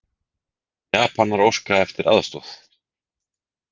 Japanar óska eftir aðstoð